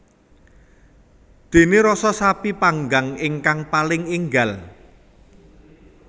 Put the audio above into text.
Dene rasa sapi panggang ingkang paling enggal